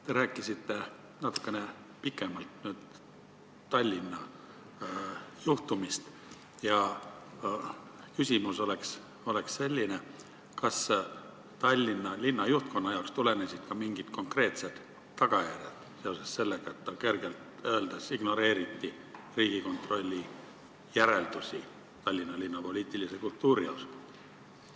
Te rääkisite natukene pikemalt Tallinna suhtumisest ja minu küsimus on selline: kas Tallinna linna juhtkonnale kaasnesid ka mingid konkreetsed tagajärjed seoses sellega, et pehmelt öeldes ignoreeriti Riigikontrolli järeldusi Tallinna linna poliitilise kultuuri kohta?